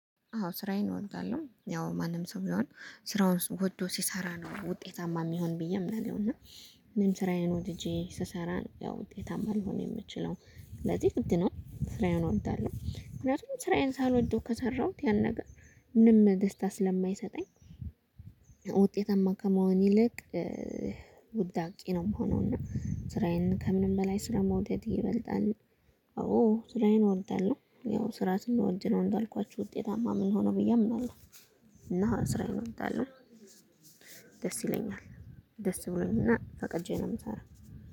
አዎ ስራዬን እወዳለሁ ያው ማንም ሰው ቢሆን ስራውን ወዶ ሲሰራ ነው ውጤታማ የሚሆነው ብዬ አምናለሁ። እና እኔም ስራዬን ወድጄ ስሰራ ነው ያው ውጤታማ ልሆን የምችለው ስለዚህ ግድ ነው ስራዬን እወዳለሁ። ምክንያቱም ስራዬን ሳልወደው ከሰራሁት ያን ነገር ምንም ደስታ ስለማይሰጠኝ። ውጤታማ ከመሆን ይልቅ ውዳቂ ነው የምሆነው። እና ስራዬን ከምንም በላይ ስራ መውደድ ይበልጣል። አዎ ስራዬን እወዳለሁ ያው ስራ ስንወድ ነው እንዳልኳችሁ ውጤታማ የምንሆነው ብዬ አምናለሁ። እና ስራዬን እወዳለሁ። ደስ ይለኛል ደስ ብሎኝና ፈቀጄ ነው የምሰራው